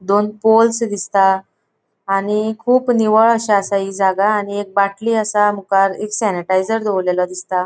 दोन पोल्स दिसता आणि कुब निवळ अशे असा हि जागा आणि एक बाटली आसा मुकार एक सॅनिटायजर दोवोरलेलो दिसता.